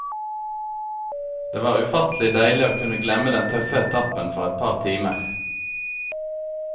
Det var ufattelig deilig å kunne glemme den tøffe etappen for et par timer.